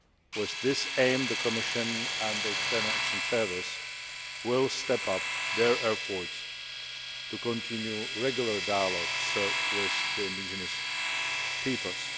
With this aim, the Commission and the External Action Service will step up their efforts to continue regular dialogue with the indigenous peoples.